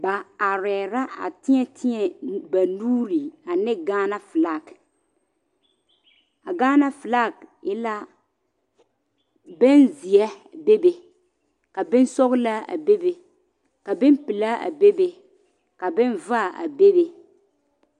Ba arɛɛ la a teɛ teɛ ba nuure ane Ghana flag a Ghana flag e la bonzeɛ bebe bonsɔglaa a bebe ka bonpelaa a bebe ka bonvaare a bebe.